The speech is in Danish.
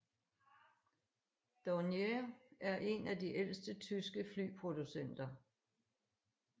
Dornier er en af de ældste tyske flyproducenter